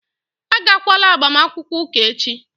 Agakwala agbamakwụkwọ ụka echi!